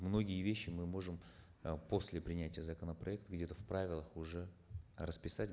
многие вещи мы можем э после принятия законопроекта где то в правилах уже расписать